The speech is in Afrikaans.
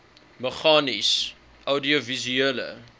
meganies oudiovisuele